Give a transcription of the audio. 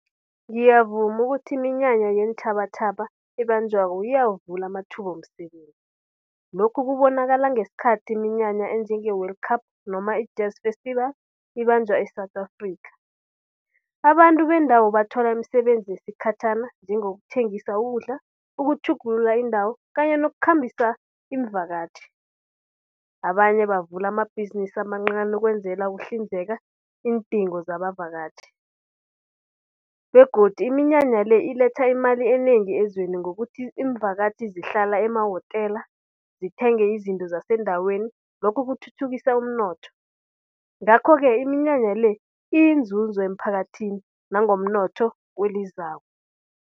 Ngiyavuma ukuthi iminyanya yeentjhabatjhaba ebanjwako iyawuvula amathuba womsebenzi. Lokhu kubonakala ngesikhathi iminyanya enjenge-World Cup noma i-jazz festival ibanjwa e-South Africa. Abantu bendawo bathola imisebenzi yesikhatjhana njengokuthengisa ukudla, ukutjhugulula indawo kanye nokukhambisa imvakatjhi. Abanye bavula amabhizinisi amancani ukwenzela ukuhlinzela iindingo zabavakatjhi begodu iminyanya le iletha imali enengi ezweni ngokuthi iimvakatjhi zihlala emawotela, zithenge izinto zasendaweni lokhu kuthuthukisa umnotho. Ngakho-ke iminyanya le iyinzuzo emphakathini nangomnotho kwelizako.